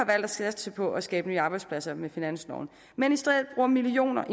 satse på at skabe nye arbejdspladser med finansloven men i stedet bruger millioner